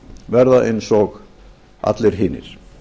verða eins og allir hinir